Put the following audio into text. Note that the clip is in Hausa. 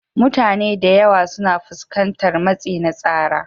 Mutane da yawa suna fuskantar matsi na tsara,